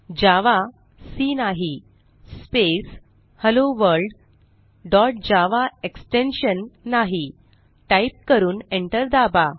जावा C नाही space hello world dot java extension नाही type करून एंटर दाबा